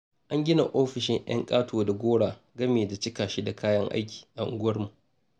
An gina ofishin 'yan ƙato da gora, gami da cika shi da kayan aiki a unguwarmu.